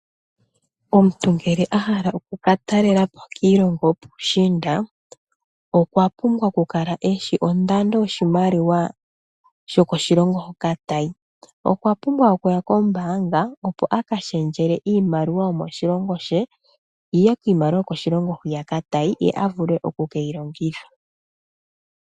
Omuntu ngele a hala oku ka talela po kiilongo yopuushiinda okwa pumbwa okukala e shi ondando yoshimaliwa shokoshilongo hoka ta yi. Okwa pumbwa okuya kombaanga, opo a ka shendjele iimaliwa yomoshilongo she yi ye miimaliwa yokoshilongo hoka ta yi ye a vule oku ke yi longitha.